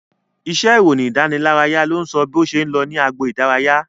Iṣẹ́ ìròyìn ìdánilárayá ló ń sọ bó ṣe ń lọ ní agbo idaraya